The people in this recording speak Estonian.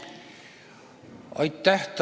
Aitäh!